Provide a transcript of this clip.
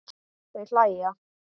Þau hlæja.